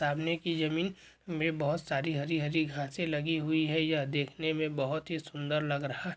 सामने की ज़मीन में बहुत सारी हरी हरी घासें लगी हुई है यह देखने में बहुत ही सुंदर लग रहा --